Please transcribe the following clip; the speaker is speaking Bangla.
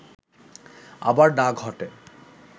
আবার না ঘটে